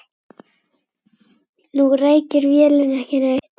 Nú reykir vélin ekki neitt.